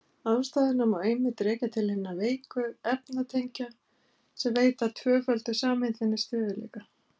Ástæðuna má einmitt rekja til hinna veiku efnatengja sem veita tvöföldu sameindinni stöðugleika.